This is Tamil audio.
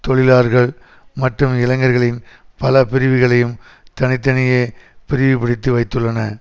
தொழிலாளர்கள் மற்றும் இளைஞர்களின் பல பிரிவுகளையும் தனி தனியே பிளிவுபடுத்தி வைத்துள்ளன